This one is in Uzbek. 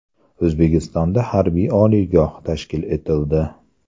O‘zbekistonda harbiy oliygoh tashkil etildi.